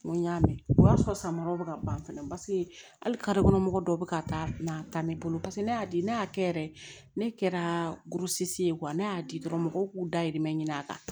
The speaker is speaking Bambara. N ko n y'a mɛn o y'a sɔrɔ san ma yɔrɔ ka ban fɛnɛ hali ka mɔgɔ dɔw bɛ ka taa n'a ta ne bolo paseke ne y'a di ne y'a kɛ yɛrɛ ne kɛra ye ne y'a di dɔrɔn mɔgɔw k'u dahirimɛ ɲini a kan